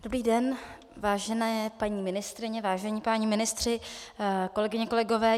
Dobrý den, vážené paní ministryně, vážení páni ministři, kolegyně, kolegové.